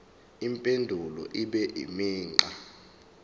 impendulo ibe imigqa